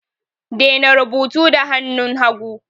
Daina rubutu da hannun hagu!